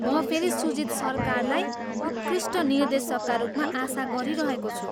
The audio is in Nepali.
म फेरि सुजित सरकारलाई उत्कृष्ट निर्देशकका रूपमा आशा गरिरहेको छु।